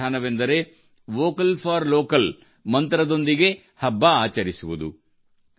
ಈ ವಿಧಾನವೆಂದರೆ vocal for local ಮಂತ್ರದೊಂದಿಗೆ ಹಬ್ಬ ಆಚರಿಸುವುದು